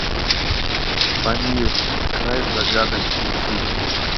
памир край загадок включи